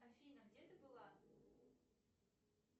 афина где ты была